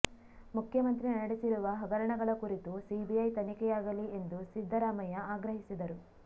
ಮುಖ್ಯಮಂತ್ರಿ ನಡೆಸಿರುವ ಹಗರಣಗಳ ಕುರಿತು ಸಿಬಿಐ ತನಿಖೆಯಾಗಲಿ ಎಂದು ಸಿದ್ದರಾಮಯ್ಯ ಆಗ್ರಹಿಸಿದರು